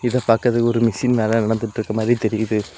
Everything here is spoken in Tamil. இத பாக்குறதுக்கு ஒரு மிஷின் மேல நடந்துட்டுருக்க மாதிரி தெரியுது.